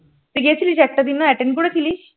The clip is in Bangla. তুই গেছিলিস একটা দিনও attend করেছিলিস?